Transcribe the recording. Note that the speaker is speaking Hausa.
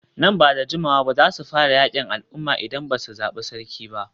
Nan ba da jimawa ba za su fara yakin al'umma idan ba su zabi sarki ba.